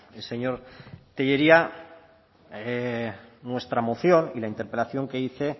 el señor tellería nuestra moción y la interpelación que hice